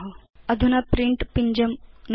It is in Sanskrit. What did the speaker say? अधुना प्रिंट पिञ्जं नुदतु